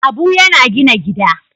Abu yana gina gida.